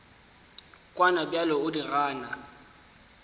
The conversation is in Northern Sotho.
kwana bjale o di gana